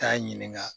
Taa ɲininka